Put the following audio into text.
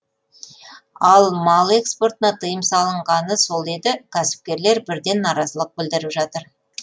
ал мал экспортына тыйым салынғаны сол еді кәсіпкерлер бірден наразылық білдіріп жатыр